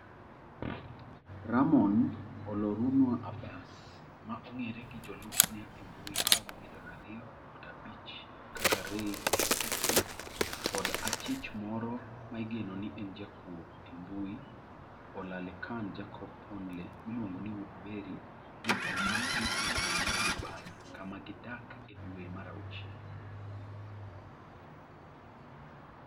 Ramon Olorunwa Abbas - ma ong'ere gi jolupne e mbui maromo milion ariyo nukta abich kaka Ray Hushpuppi - kod achich moro ma igeno ni en jakuo e mbui Olalekan Jacob Ponle (miluongo ni Woodberry) ne omaki e boma mar Dubai, kama gidak, e dwe mar auchiel.